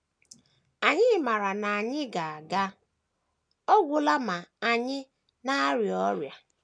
Anyị maara na anyị ga - aga ọ gwụla ma ànyị na - arịa ọrịa.